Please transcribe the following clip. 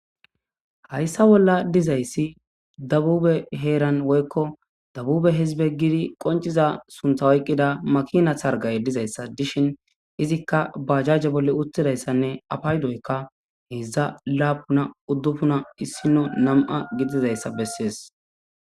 hayssa bolla dizayssi dabube heeran woykko dabube hizbe gidi qonciza sunta ayqqida makina thargay dizayssa dishin izikka ba jajje bolle uttidayssanne apaydoyka heedzdza laapuna uddufuna issino nam7a gidizayssa bessees